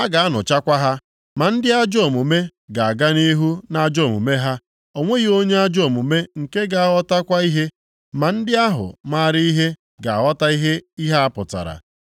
a ga-anụchakwa ha. Ma ndị ajọ omume ga-aga nʼihu nʼajọ omume ha. O nweghị onye ajọ omume nke ga-aghọtakwa ihe, ma ndị ahụ maara ihe ga-aghọta ihe ihe a pụtara.